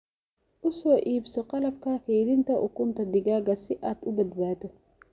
U soo iibso qalabka kaydinta ukunta digaagga si aad u badbaado.